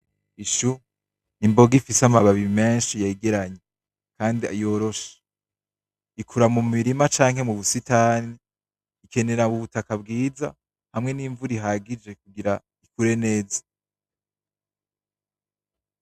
Ishou imboga ifise amababi menshi yegeranye kandi yoroshe, ikura mu mirima canke mu busitani. Ikenera ubutaka bwiza hamwe n'imvura ihagije kugira ikure neza.